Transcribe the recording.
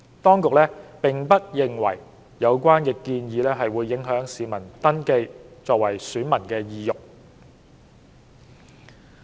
當局並不認為有關建議會影響市民登記為選民的意欲。